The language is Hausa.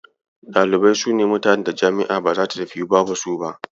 Ɗalibai sune mutanen da jam'i ba zata tafiyu ba babu su.